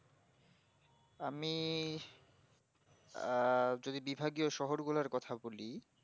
আমি আঃ যদি বিভাগীয় শহর গুলার কথা বলি